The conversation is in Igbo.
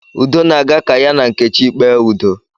Udo na-aga ka ya na nkechi kpee udo